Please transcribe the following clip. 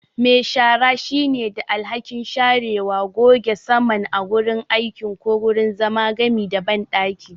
Me shara shine da alhakin sharewa, goge saman a wurin aiki ko wurin zama, gami da banɗaki.